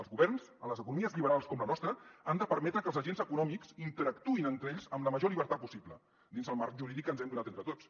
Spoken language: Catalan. els governs en les economies lliberals com la nostra han de permetre que els agents econòmics interactuïn entre ells amb la major llibertat possible dins el marc jurídic que ens hem donat entre tots